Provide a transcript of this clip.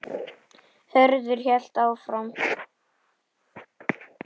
Hörður hélt áfram